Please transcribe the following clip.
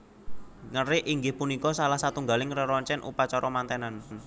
Ngerik inggih punika salah satunggaling reroncen upacara mantenan